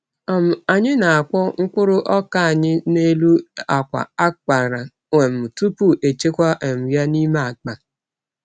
um Anyị na-akpọ mkpụrụ ọka anyị n’elu akwa a kpara um tupu echekwa um ya n’ime akpa.